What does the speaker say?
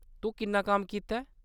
तूं किन्ना कम्म कीता ऐ ?